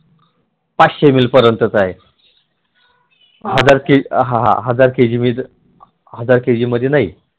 पाचशे ml पर्यंतचा आहे हजार kg मध्ये नाही